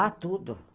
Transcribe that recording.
Ah, tudo.